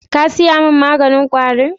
Ka saya mun maganin kwari 'n?